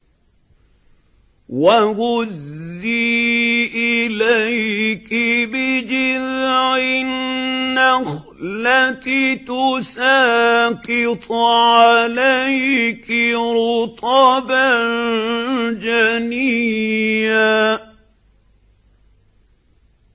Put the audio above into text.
وَهُزِّي إِلَيْكِ بِجِذْعِ النَّخْلَةِ تُسَاقِطْ عَلَيْكِ رُطَبًا جَنِيًّا